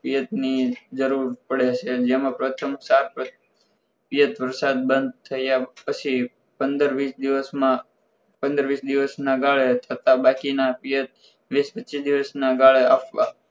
ભેજની જરૂર પડે છે જેમાં પ્રથમ પાક ભેજ વરસાદ બંધ થયા પછી પંદર વીસ દિવસમાં પંદરવીસ દિવસના ગાળે થતાં બાકીના વીસ પચીસ દિવસના ગાળે આપવા